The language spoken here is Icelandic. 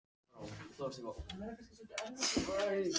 Þessi hárgreiðsla hefur örugglega tekið hann klukkutíma hugsaði Örn.